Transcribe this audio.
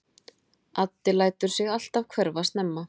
Addi lætur sig alltaf hverfa snemma.